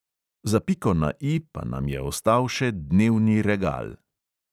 Za piko na E pa nam je ostal še dnevni regal.